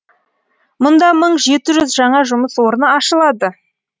мұнда мың жеті жүз жаңа жұмыс орны ашылады